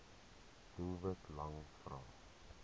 doelwit lang vrae